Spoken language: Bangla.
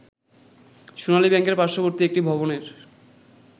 সোনালী ব্যাংকের পার্শ্ববর্তী একটি ভবনের